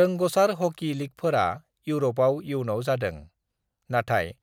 "रोंग'सार hockey लीगफोरा इउरपाव इयुनाव जादों, नाथाय